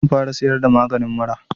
Zan fara siyar da maganin mura